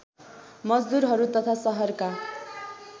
मजदुरहरू तथा सहरका